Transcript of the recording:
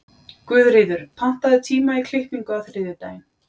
Guðríður, pantaðu tíma í klippingu á þriðjudaginn.